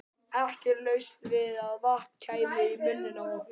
Ekki laust við að vatn kæmi í munninn á okkur.